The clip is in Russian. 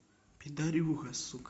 пидарюга сука